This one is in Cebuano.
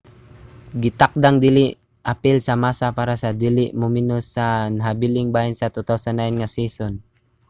gitakdang dili apil si massa para sa dili mumenos sa nahabiling bahin sa 2009 nga season